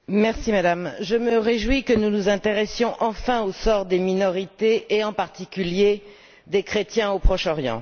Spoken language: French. Madame la Présidente, je me réjouis que nous nous intéressions enfin au sort des minorités et, en particulier, des chrétiens au Proche Orient.